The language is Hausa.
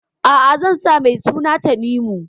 A'a, zan sa mai suna Tanimu.